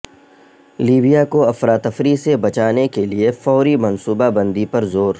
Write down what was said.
Libya کو افراتفری سے بچانے کے لیے فوری منصوبہ بندی پر زور